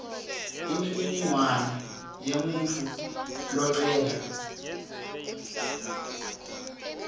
imininingwane yemuntfu locela